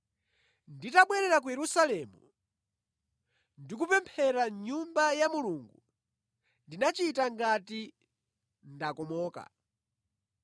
“Nditabwerera ku Yerusalemu, ndikupemphera mʼNyumba ya Mulungu, ndinachita ngati ndakomoka.